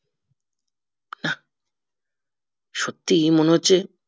সত্যিই মনে হচ্ছে